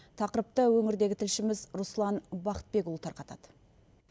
тақырыпты өңірдегі тілшіміз руслан бақытбекұлы тарқатады